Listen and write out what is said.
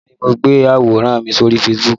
Bẹ́ẹ̀ni mo gbé àwòrán mi sórí Facebook